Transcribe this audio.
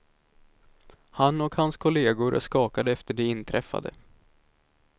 Han och hans kollegor är skakade efter det inträffade.